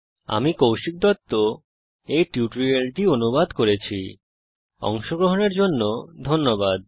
আমি কৌশিক দত্ত এই টিউটোরিয়াল টি অনুবাদ করেছি এতে অংশগ্রহন করার জন্য ধন্যবাদ